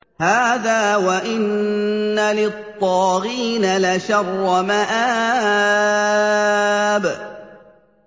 هَٰذَا ۚ وَإِنَّ لِلطَّاغِينَ لَشَرَّ مَآبٍ